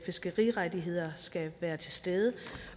fiskerirettigheder skal være til stede